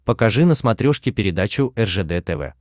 покажи на смотрешке передачу ржд тв